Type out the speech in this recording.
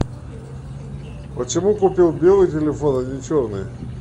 почему купил белый телефон а не черный